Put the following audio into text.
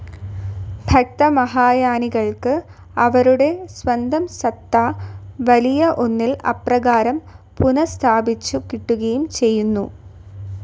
ഭക്തമഹായാനികൾക്ക് അവരുടെ സ്വന്തം സത്ത, വലിയ ഒന്നിൽ അപ്രകാരം പുനഃസ്ഥാപിച്ചു കിട്ടുകയും ചെയ്യുന്നു.